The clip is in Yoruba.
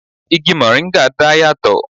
Igi moringa dá yà tò